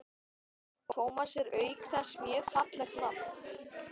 Tómas er auk þess mjög fallegt nafn.